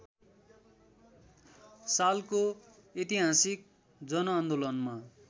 सालको ऐतिहासिक जनआन्दोलनमा